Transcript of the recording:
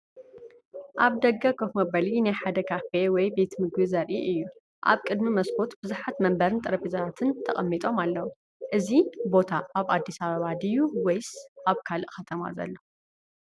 ኣብ ደገ ኮፍ መበሊ ናይ ሓደ ካፌ ወይ ቤት ምግቢ ዘርኢ እዩ። ኣብ ቅድሚ መስኮት ብዙሓት መንበርን ጠረጴዛታትን ተቐሚጦም ኣለዉ፡፡ እዚ ቦታ ኣብ ኣዲስ ኣበባ ድዩ ወይስ ኣብ ካልእ ከተማ ዘሎ ?